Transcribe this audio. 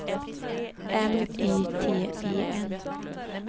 M Y T E N